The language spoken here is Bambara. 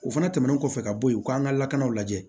O fana tɛmɛnen kɔfɛ ka bɔ yen u k'an ka lakanaw lajɛ